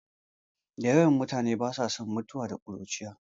Da yawan mutane ba sa son mutuwa da ƙuruciya